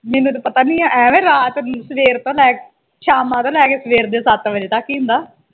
ਮੈਨੂੰ ਤਾ ਪਤਾ ਈ ਨਹੀਂ ਆ ਐਵੇ ਰਾਤ ਸਵੇਰ ਤੋਂ ਲੈ ਕੇ ਸ਼ਾਮਾਂ ਤੋਂ ਲੈ ਕੇ ਸਵੇਰ ਦੇ ਸੱਤ ਵਜੇ ਤਕ ਈ ਹੁੰਦਾ।